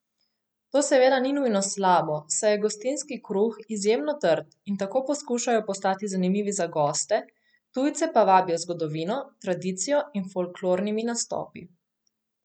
To seveda ni nujno slabo, saj je gostinski kruh izjemno trd in tako poskušajo postati zanimivi za goste, tujce pa vabijo z zgodovino, tradicijo in folklornimi nastopi.